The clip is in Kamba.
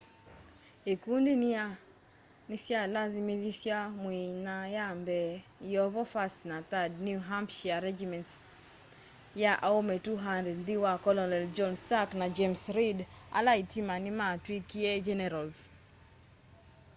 ĩkũndĩ nĩ sya lasĩmĩthasya mwĩ nya ya mbee yĩovo 1st na 3rd new hampshĩre regĩments ya aũme 200 nthĩ wa kolonel john stark na james reed ala ĩtĩma nĩmatwĩkĩe generals